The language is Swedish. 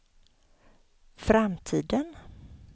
framtiden